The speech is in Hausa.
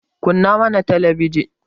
kunna mana talabijin